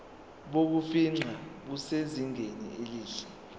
bokufingqa busezingeni elihle